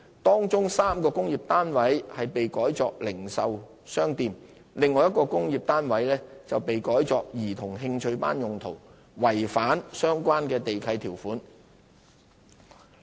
當中3個工廈單位被改作零售商店，另外1個工廈單位被改作兒童興趣班用途，違反相關地契條款。